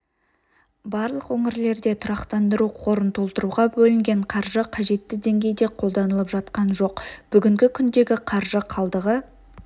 барлық өңірлерде тұрақтандыру қорын толтыруға бөлінген қаржы қажетті деңгейде қолданылып жатқан жоқ бүгінгі күндегі қаржы қалдығы